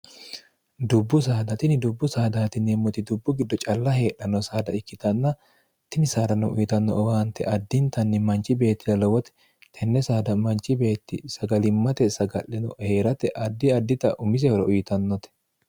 dubbu saada tini dubbu saadaati yinemmoti dubbu giddo calla heedhanno saada ikkitanna tini saadanno uyitanno owaante addintanni manchi beettira lowote tenne saada manchi beetti sagalimmate saga'leno heerate addi addita umise hora uyitannote